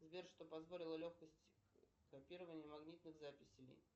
сбер что позволило легкость копирование магнитных записей